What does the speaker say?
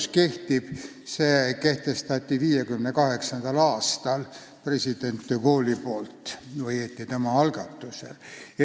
See kehtestati 1958. aastal president de Gaulle'i ajal, õieti tema algatusel.